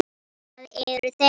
Það eru þeir.